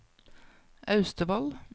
Austevoll